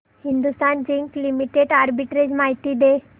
Hindustan zinc limited arbitrage माहिती दे